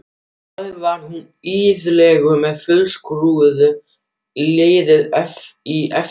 Fyrir bragðið var hún iðulega með fjölskrúðugt lið í eftirdragi.